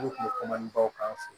Olu kun bɛ kom'an baw k'an fɛ yen